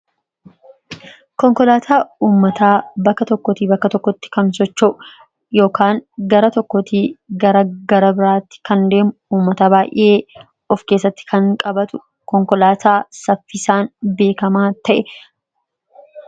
Konkolaataa ummataa bakka tokkootii bakka tokkotti kan socho'u (gara tokkootii gara garabiraatti kan deemu) ,ummata baay'ee of keessatti kan qabatu, konkolaataa saffisaan beekamaa ta'e.